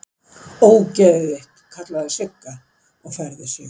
Ógeðið þitt!! kallaði Sigga og færði sig.